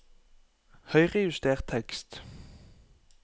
Høyrejuster tekst